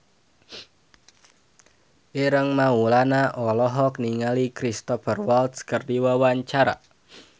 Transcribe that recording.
Ireng Maulana olohok ningali Cristhoper Waltz keur diwawancara